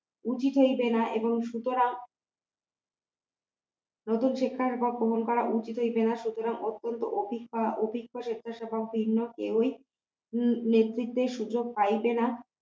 উচিত হইবে না এবং সুতরাং নতুন শিক্ষার বা গ্রহণ করা উচিত হইবে না সুতরাং অত্যন্ত অপেক্ষা অপেক্ষা স্বেচ্ছা স্বভাব ভিন্ন কেউই নেতৃত্বে সুযোগ পাইবে না